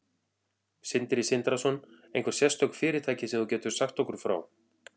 Sindri Sindrason: Einhver sérstök fyrirtæki sem þú getur sagt okkur frá?